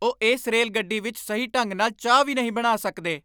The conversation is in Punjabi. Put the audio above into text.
ਉਹ ਇਸ ਰੇਲਗੱਡੀ ਵਿਚ ਸਹੀ ਢੰਗ ਨਾਲ ਚਾਹ ਵੀ ਨਹੀਂ ਬਣਾ ਸਕਦੇ!